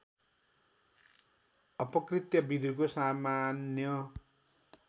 अपकृत्य विधिको सामान्य